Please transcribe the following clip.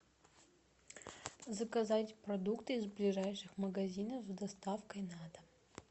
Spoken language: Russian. заказать продукты из ближайших магазинов с доставкой на дом